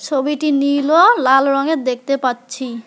ছবিটি নীল ও লাল রঙের দেখতে পাচ্ছি।